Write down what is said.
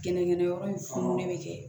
Gɛnɛgɛnyɔrɔ in fununnen bɛ kɛ